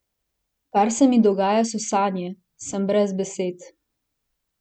Kar se mi dogaja, so sanje, sem brez besed.